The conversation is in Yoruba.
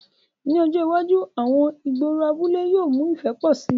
Ni ọjọ iwaju, àwọn igboro abule yóò mu ifẹ pọ si